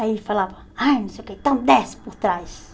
Aí ele falava, ai não sei o que, então desce por trás.